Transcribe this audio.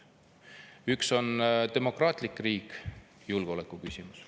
Üks on demokraatlik riik, julgeolekuküsimus.